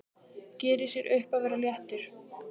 Gerir sér upp að vera léttur.